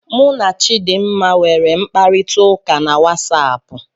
Mụ na Chidmma nwere mkparita ụka na WatsAapụ